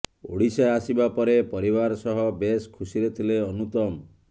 ଓଡ଼ିଶା ଆସିବା ପରେ ପରିବାର ସହ ବେଶ୍ ଖୁସିରେ ଥିଲେ ଅନୁତମ